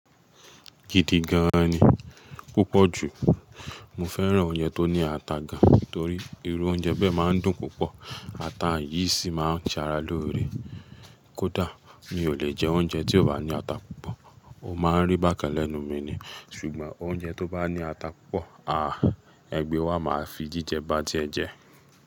Gidi gan ni, pupọ ju, mo fẹ́ràn oúnjẹ tó ní ata gan torí iru oúnjẹ bẹ máa ń dùn púpọ̀, ata yìí sì máa ń ṣara lóore. Kódà mi ò lè jẹ oúnjẹ tí ò bá ní ata púpọ̀, o máa rí bákan lẹ́nu mi ni, ṣùgbọ́n oúnjẹ tó bá ní ata púpọ̀, Ẹ gbẹ́ wa máa fi jíjẹ bá tiẹ jẹ.